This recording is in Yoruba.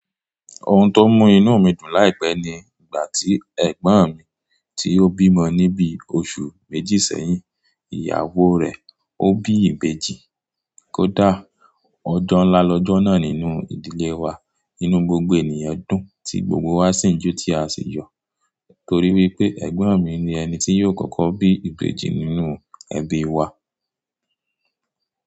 Ohun tó mú inú mi dùn láìpẹ́ ni ìgbà tí ẹ̀gbọ́n mi tí ó bímọ ní bí oṣù méjì sẹ́yìn, ìyàwó rẹ̀ ó bí ìbejì. Kódà ọjọ́ ńlá lọ́jọ́ náà nínú ìdílé wa, ínú gbogbo ènìyàn dùn tí gbogbo wa sì ń jó tí a sì yọ̀ torí wípé ẹ̀gbọ́n mi ni ẹni tí yóò kọ́kọ́ bí ìbejì nínú ẹbí wa.